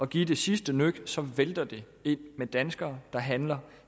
give det sidste nøk så vælter det ind med danskere der handler